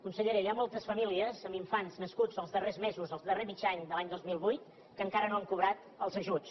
consellera hi ha moltes famílies amb infants nascuts els darrers mesos el darrer mig any de l’any dos mil vuit que encara no han cobrat els ajuts